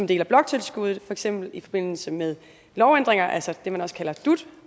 del af bloktilskuddet for eksempel i forbindelse med lovændringer altså det man også kaldet dut